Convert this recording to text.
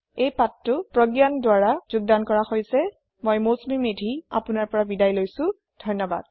এই পাঠটি প্ৰগয়ানৰ দ্ৱাৰা যোগদান কৰা হৈছে আই আই টী বম্বে ৰ পৰা মই মৌচুমী মেধী এতিয়া আপুনাৰ পৰা বিদায় লৈছো লগত থকাৰ কাৰণে ধন্যৱাদ